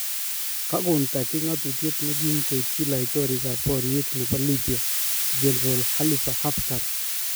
Kagon Turkey ngatutyet negiim koityi laitorik-ap-pariet nepo Libya General Khalifa Haftar